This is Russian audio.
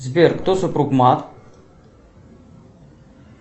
сбер кто супруг мат